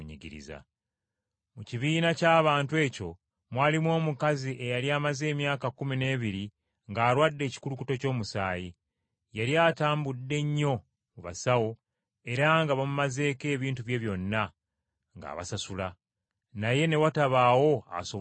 Mu kibiina ky’abantu ekyo mwalimu omukazi eyali amaze emyaka kkumi n’ebiri ng’alwadde ekikulukuto ky’omusaayi. Yali atambudde nnyo mu basawo era nga bamumazeeko ebintu bye byonna ng’abasasula, naye ne watabaawo asobola kumuwonya.